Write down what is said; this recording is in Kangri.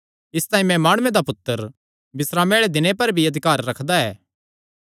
इसतांई मैं माणुये दा पुत्तर बिस्रामे आल़े दिने दा भी प्रभु ऐ